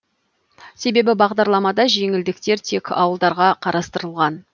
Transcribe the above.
себебі бағдарламада жеңілдіктер тек ауылдарға қарастырылған